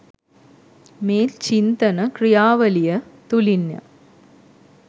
මේ චින්තන ක්‍රියාවලිය තුළින්ය.